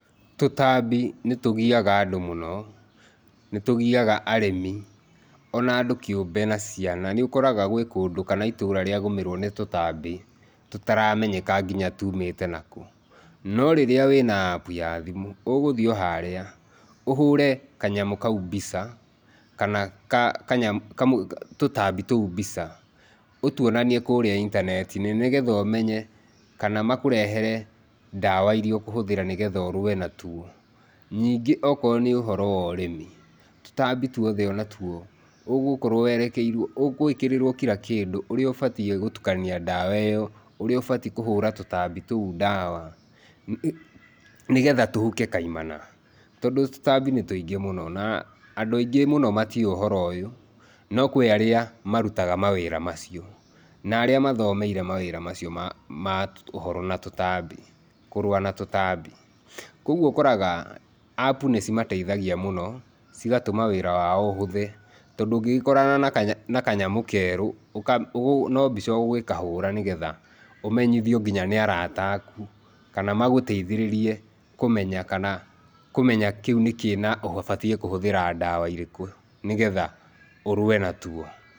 Tũtambi nĩtũgiaga andũ mũno nĩtũgiaga arĩmi ona andũ kĩũmbe na ciana nĩũkoraga gwĩ kũndũ kana itũra rĩa gũmĩrwo nĩ tũtambi tũtaramenyeka nginya tũmĩte nakũ norĩrĩa wĩna app ya thimũ ũgũthiĩ oharĩa ũhũre kanyamũ kau mbica kana ka kanyamũ tũtambi tũu mbica ũtũonanie kũrĩa intaneti-inĩ nĩgetha ũmenye kana makũrehere ndawa iria ũkũhũthĩra nĩgetha ũrũe natũo. Ningĩ okorwo nĩ ũhoro worĩmi tũtambi tũothe onatũo ũgũkorwo werekeirwo ũgwĩkĩrĩrwo kira kĩndũ ũrĩa ũbatĩe gũtũkania ndawa iyo ũrĩa ũbatĩe kũhũra tũtambi tũu ndawa, nĩgetha tũhuke kaimana. Tondũ tũtambi nĩtũingĩ mũno na andũ aingĩ mũno matiũĩ ũhoro ũyũ no kwĩ arĩa marũtaga mawĩra macio na arĩa mathomeire mawĩra macio ma ma ũhoro na tũtambi, kũrũa na tũtambi. Kogũo ũkoraga app nĩcimateithagia mũno wĩra wao ũhũthe tondũ ũngĩgĩkorana na kanyamũ kerũ no mbica ũgũgĩkahũra nĩgetha ũmenyithio nginya nĩ arata aku kana magũteithĩrĩrie kũmenya kana kũmenya kĩu nĩkĩĩ na ũbatie kũhũthĩra ndawa irĩkũ nĩgetha ũrũe na tuo.